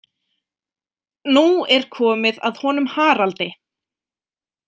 Nú er komið að honum Haraldi.